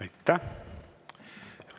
Aitäh!